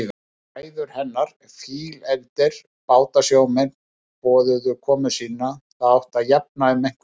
Bræður hennar, fílefldir bátasjómenn, boðuðu komu sína, það átti að jafna um einhvern.